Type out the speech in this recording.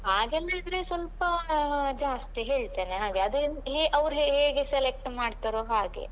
ಹಾಗಂದಿದ್ರೆ ಸ್ವಲ್ಪ ಜಾಸ್ತಿ ಹೇಳ್ತೇನೆ ಆಗ ಅದೆನ್ ಹೇ ಅವ್ರು ಹೇಗೆ ಸೆಲೆಕ್ಟ್ ಮಾಡ್ತಾರೋ ಹಾಗೆ.